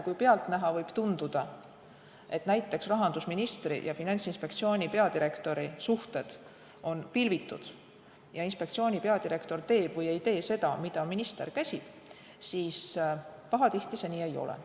Kuigi pealtnäha võib tunduda, et näiteks rahandusministri ja Finantsinspektsiooni peadirektori suhted on pilvitud ja inspektsiooni peadirektor teeb või ei tee seda, mida minister käsib, siis pahatihti see nii ei ole.